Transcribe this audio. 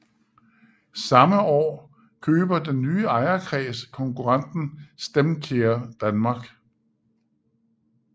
Samme år køber den nye ejerkreds konkurrenten StemCare Danmark